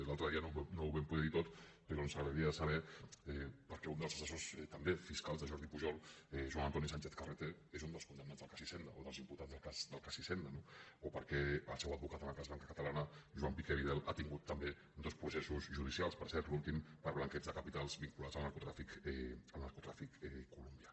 l’altre dia no ho vam poder dir tot però ens agradaria saber per què un dels assessors també fiscals de jordi pujol joan antoni sánchez carreter és un dels condemnats del cas hisenda o dels imputats del cas hisenda no o per què el seu advocat en el cas banca catalana joan piqué vidal ha tingut també dos processos judicials per cert l’últim per blanqueig de capitals vinculats al narcotràfic colombià